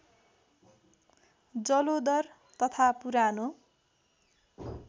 जलोदर तथा पुरानो